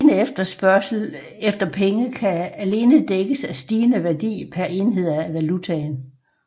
Stigende efterspørgsel efter penge kan alene dækkes af stigende værdi per enhed af valutaen